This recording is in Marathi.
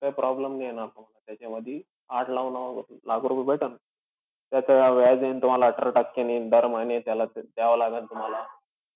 काही problem नाही येणार तुम्हाला त्याच्यामधी. आठ-नऊ नऊ लाख रुपये भेटेन. त्याचं व्याज येईन तुम्हाला अठरा टक्केनी दर महिने त्याला द्यावं लागन तुम्हाला.